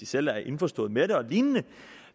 selv er indforstået med det og lignende